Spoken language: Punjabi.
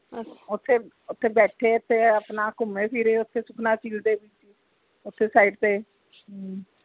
ਓਥੇ ਓਥੇ ਬੈਠੇ ਤੇ ਆਪਣਾ ਘੁੰਮੇ ਫਿਰੇ ਓਥੇ ਸੁਖਣਾ ਝੀਲ ਦੇ ਓਥੇ side ਤੇ ਹਮ